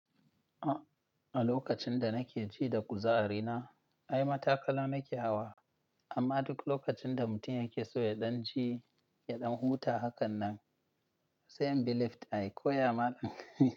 A, a lokacin da nake ji da kuzari na, ai matakala nake hawa. Amma duk lokacin da mutum yake so ya ɗan ji, ya ɗan huta hakan nan, sai in bi lift ayi koya ma dai.